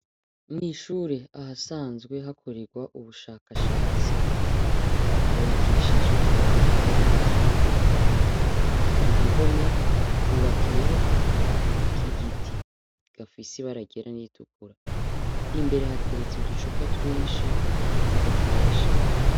Mw'ishure ahasanzwe hakorerwa ubushakashatsi hubakishijwe amatafari meza atukura. Ku gihome, hubakiyeho akabati k'igiti gafise ibara ryera n'iritukura. Imbere hateretse uducupa twinshi bakoresha.